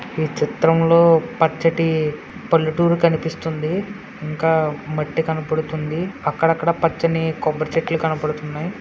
ఈ చిత్రంలో పచ్చటి పల్లెటూరు కనిపిస్తుంది. ఇంకా మట్టి కనపడుతుంది. అక్కడక్కడ పచ్చని కొబ్బరి చెట్లు కనబడుతున్నాయి.